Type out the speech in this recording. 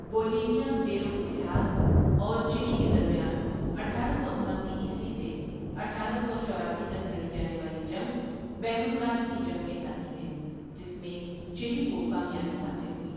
بولیولیا Peru اتحاد اور Chile کے درمیان اٹھارہ سو اُناسی عیسوی سے اٹھارہ سو چوراسی تک لڑی جانے والی جنگ بحر الکاہل کی جنگ کہلاتی ہے جس میں چلی کو کامیابی حاصل ہوئی ۔